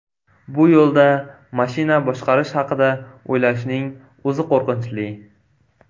Bu yo‘lda mashina boshqarish haqida o‘ylashning o‘zi qo‘rqinchli.